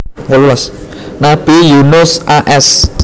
Nabi Yunus a s